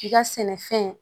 I ka sɛnɛfɛn